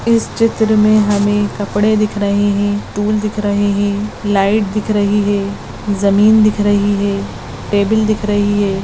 इस चित्र मे हमे कपड़े दिख रहे है टूल दिख रहे है लाइट दिख रही है जमीन दिख रही है टेबल दिख रही है।